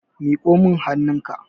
miƙo min hannunka!